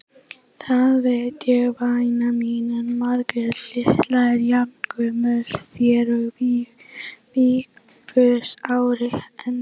Það veit ég væna mín, en Margrét litla er jafngömul þér og Vigfús ári eldri.